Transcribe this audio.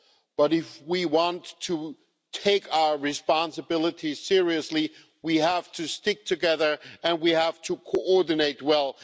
But if we want to take our responsibility seriously we have to stick together, and we have to coordinate well.